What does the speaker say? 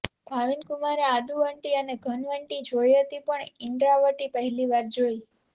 ભાવિનકુમારે આદુંવટી અને ઘનવટી જોઈ હતી પણ ઇંડ્રાવટી પહેલી વાર જોઈ